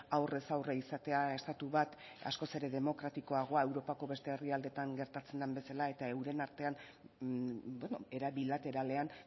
aurrez aurre izatea estatu bat askoz ere demokratikoagoa europako beste herrialdeetan gertatzen den bezala eta euren artean era bilateralean